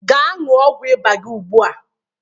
Gaa ñụọ ọgwụ ịba gị ugbu a!